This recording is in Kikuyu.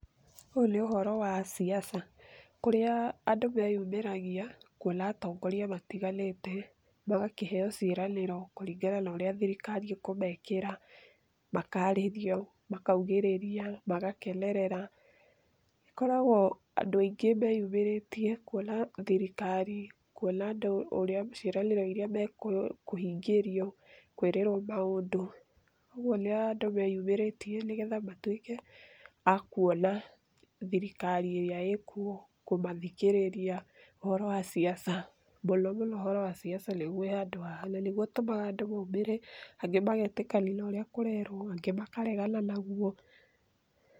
Ūyū nī ūhoro wa siasa kūrīa andū meyumīragia kuona atongoria matiganīte magakīheo ciīranīro kūringana na ūrīa thirikari īkūmekīra, makarīrio, makaugīrīria, magakenerera. Makoragūo andū aingī meyumīrītie kuona thirikari, kuona andū ciīranīro irīa mekūhingīrioo, kwīrīrwo maūndū, ūguo nī andū meyumīrītie nīgetha matuīke akuona thirikari īrīa īkuo, kūmathikīrīria ūhoro wa siasa . Mūno mūno ūhoro wa siasa nīguo wī handū haha na nīguo ūtūmaga andū maumīre andū magetīkīrania na ūrīa kūrerwo, angī makaregana naguo